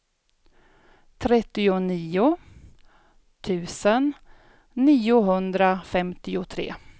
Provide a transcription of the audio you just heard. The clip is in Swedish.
trettionio tusen niohundrafemtiotre